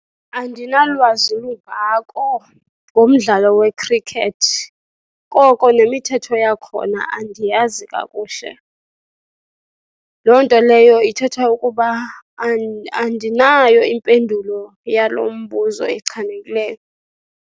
Andinalwazi lungako ngomdlalo we-cricket, koko nemithetho yakhona andiyazi kakuhle. Loo nto leyo ithetha ukuba andinayo impendulo yalo mbuzo echanekileyo.